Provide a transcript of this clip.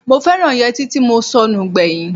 Mo fẹ́ràn yẹtí mo sọnù gbẹ̀yìn.